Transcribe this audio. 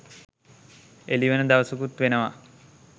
එළිවෙන දවසකුත් වෙනවා.